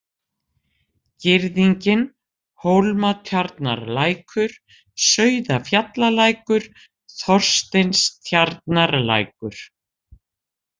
Girðingin, Hólmatjarnarlækur, Sauðafjallalækur, Þorsteinstjarnarlækur